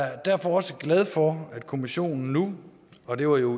er derfor også glad for at kommissionen nu og det var jo